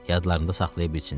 Yadlarında saxlaya bilsinlər.